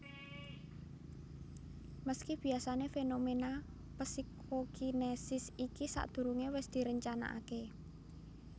Meski biasané fenomena psikokinesis iki sadhurungé wis direncanakaké